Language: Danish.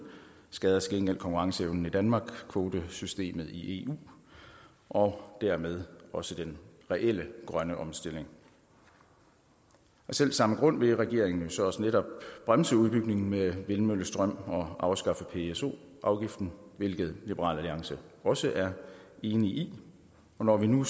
skader til gengæld konkurrenceevnen i danmark kvotesystemet i eu og dermed også den reelle grønne omstilling af selv samme grund vil regeringen jo så også netop bremse udbygningen med vindmøllestrøm og afskaffe pso afgiften hvilket liberal alliance også er i enig i og når vi nu